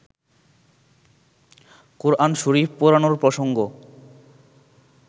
কোরআন শরিফ পোড়ানোর প্রসঙ্গ